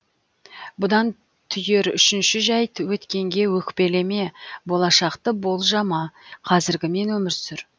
бұдан түйер үшінші жәйт өткенге өкпелеме болашақты болжама қазіргімен өмір сүр